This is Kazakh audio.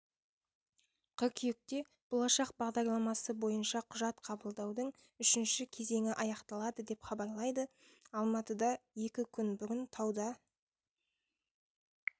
қыркүйекте болашақ бағдарламасы бойынша құжат қабылдаудың үшінші кезеңі аяқталады деп хабарлайды алматыда екі күн бұрын тауда